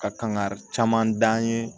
Ka kan ka caman da an ye